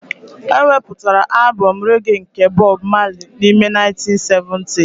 E wepụtara albọm rege nke Bob Marley n'ime 1970s